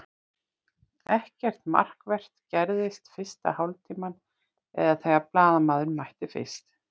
Ekkert markvert gerðist fyrsta hálftímann eða þegar blaðamaðurinn mætti fyrst.